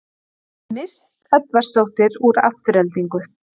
Mist Edvarsdóttir úr Aftureldingu